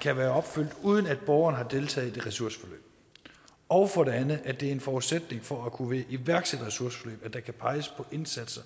kan være opfyldt uden at borgeren har deltaget i et ressourceforløb og for det andet at det er en forudsætning for at kunne være i et iværksætterressourceforløb at der kan peges på indsatser